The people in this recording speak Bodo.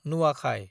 नुवाखाय